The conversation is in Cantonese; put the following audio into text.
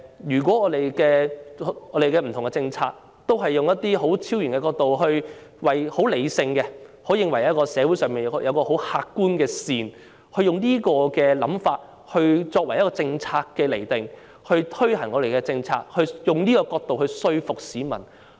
因此，當政府不同政策也是採用這種超然角度、理性角度，認為社會上有一種客觀的善，並以這種想法釐定和推行政策，當局是否希望以這角度來說服市民呢？